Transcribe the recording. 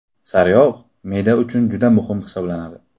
Sariyog‘ me’da uchun juda muhim hisoblanadi.